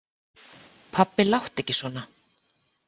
Pabbi láttu ekki svona.